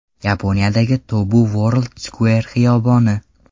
Yaponiyadagi Tobu World Square xiyoboni.